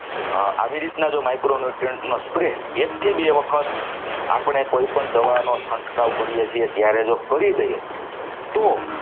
આવી રીતે જો micro newtriunt નો spray એક થી બે વખત આપણે કોઈપણ દવાનો છંટકાવ કરીએ છીએ ત્યારે જો કરી દઈએ. તો